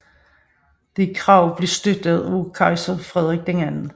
Dette krav blev støttet af kejser Frederik II